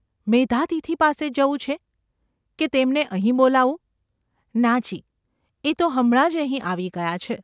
મેધાતિથિ પાસે જવું છે ? કે તેમને અહીં બોલાવું ?’ ‘ના જી ! એ તો હમણાં જ અહીં આવી ગયા છે.